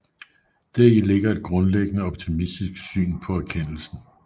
Deri ligger et grundlæggende optimistisk syn på erkendelsen